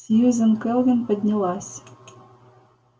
сьюзен кэлвин поднялась